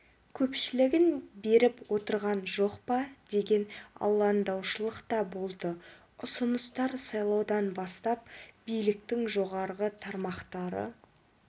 көпшілігін беріп отырған жоқ па деген алаңдаушылық та болды ұсыныстар сайлаудан бастап биліктің жоғары тармақтары